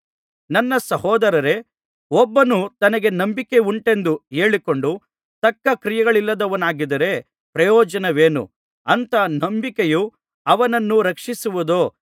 ನನ್ನ ಸಹೋದರರೇ ಒಬ್ಬನು ತನಗೆ ನಂಬಿಕೆಯುಂಟೆಂದು ಹೇಳಿಕೊಂಡು ತಕ್ಕ ಕ್ರಿಯೆಗಳಿಲ್ಲದವನಾಗಿದ್ದರೆ ಪ್ರಯೋಜನವೇನು ಅಂಥ ನಂಬಿಕೆಯು ಅವನನ್ನು ರಕ್ಷಿಸುವುದೋ